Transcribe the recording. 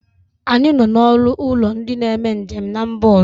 Anyị nọ na ọnụ ụlọ ndị na-eme njem n'mba ọzọ